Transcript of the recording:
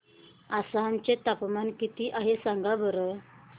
आसाम चे तापमान किती आहे सांगा बरं